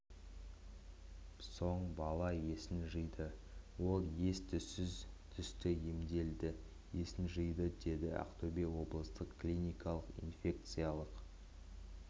соң бала есін жиды ол ес-түссіз түсті емделді есін жиды деді ақтөбе облыстық клиникалық инфекциялық